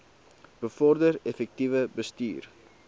bevorder effektiewe bestuur